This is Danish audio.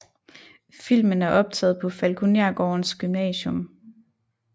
Filmen er optaget på Falkonergårdens Gymnasium